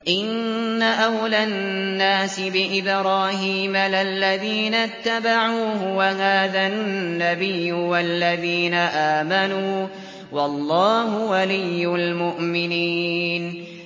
إِنَّ أَوْلَى النَّاسِ بِإِبْرَاهِيمَ لَلَّذِينَ اتَّبَعُوهُ وَهَٰذَا النَّبِيُّ وَالَّذِينَ آمَنُوا ۗ وَاللَّهُ وَلِيُّ الْمُؤْمِنِينَ